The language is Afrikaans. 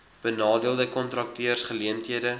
benadeelde kontrakteurs geleenthede